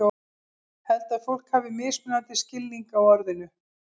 Held að fólk hafi mismunandi skilning á orðinu.